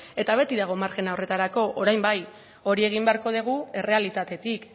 eta beti dago marjina horretarako orain bai hori egin beharko dugu errealitatetik